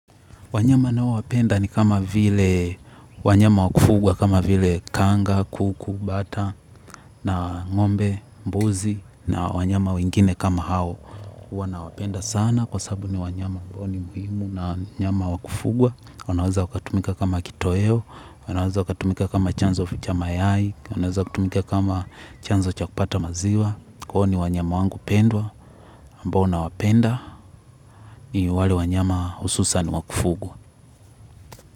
Wanyama ninao wapenda ni kama vile wanyama wakufugwa, kama vile kanga, kuku, bata, na ngombe, mbuzi, na wanyama wengine kama hao. Huwa nawapenda sana kwasabu ni wanyama ambao ni muhimu na wanyama wa kufugwa. Wanaweza wakatumika kama kitoweo wanaweza waka tumika kama chanzo cha mayai. Wanaweza wakatumika kama chanzo cha kupata maziwa. Kwa hiyo ni wanyama wangu pendwa, ambao na wapenda, ni wale wanyama hususa ni wa kufugwa.